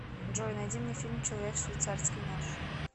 джой найди мне фильм человек швейцарский нож